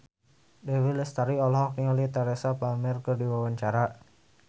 Dewi Lestari olohok ningali Teresa Palmer keur diwawancara